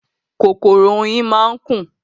Kòkòrò oyin máa ń kùn.